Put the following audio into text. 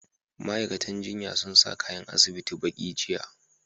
Ma'aikatan jinyan sun sa kayan asibiti baƙi, jiya.